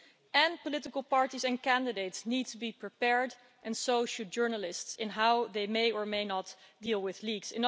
And political parties and candidates needs to be prepared, and so should journalists, in how they may or may not deal with leaks.